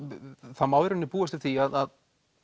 það má í rauninni búast við því að